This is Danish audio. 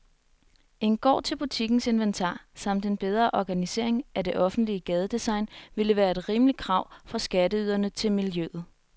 En gård til butikkens inventar samt en bedre organisering af det offentlige gadedesign ville være et rimeligt krav fra skatteyderne til miljøet.